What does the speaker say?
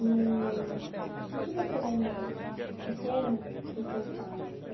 E o que que você lembra de pequeno dos teus pais assim?